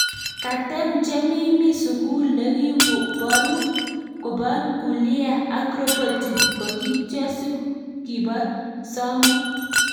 Ketem chemi mi sugul ne kiboruk kobo nuklia ak roboti ko kityo si kibo samwek.